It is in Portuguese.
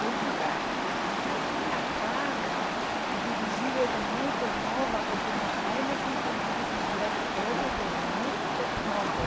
Eu nunca, hum, eu tinha carro e dirigia desde muito nova, porque meu pai nos ensinou a dirigir a todos desde muito novo.